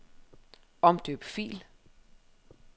Omdøb fil.